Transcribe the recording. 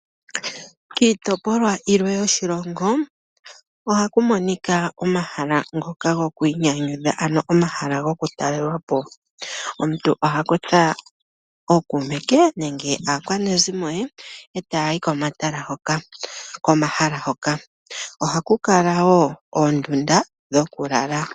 Kiitopolwa ilwe yoshilongo, ohaku monika omahala ngoka gokwiinyanyudha ano omahala gokutalelwa po. Omuntu oha kutha ookuume ke nenge aakwanezimo ye eta ya yi komahala hoka. Oha ku kala wo oondunda dhoku lala.